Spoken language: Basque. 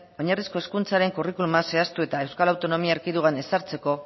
oinarrizko hezkuntzaren curriculuma zehaztu eta euskal autonomia erkidegoan ezartzeko